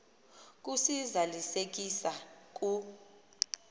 kusi zalisekisa ku